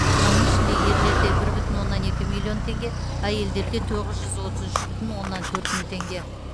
оның ішінде ерлерде бір бүтін оннан екі миллион теңге әйелдерде тоғыз жүз отыз үш бүтін оннан төрт мың теңге